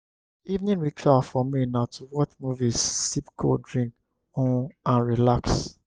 evening ritual for me na to watch movie sip cold drink um and relax.